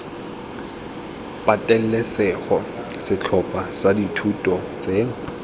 patelesego setlhopha sa dithuto tse